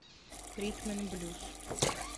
ритм н блюз